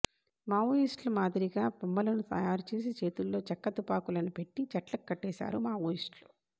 మావోయిస్టుల మాదిరిగా బొమ్మలను తయారు చేసి చేతుల్లో చెక్క తుపాకులను పెట్టి చెట్లకు కట్టేశారు మావోయిస్టులు